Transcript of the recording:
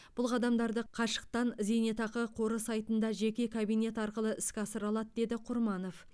бұл қадамдарды қашықтан зейнетақы қоры сайтында жеке кабинет арқылы іске асыра алады деді құрманов